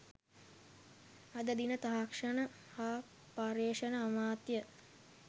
අද දින තාක්ෂණ හා පර්යේෂණ අමාත්‍ය